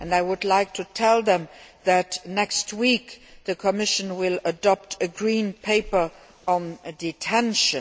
I would like to tell them that next week, the Commission will adopt a Green Paper on detention.